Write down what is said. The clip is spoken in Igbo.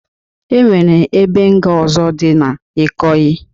E nwere ebe nga ọzọ dị na Ikoyi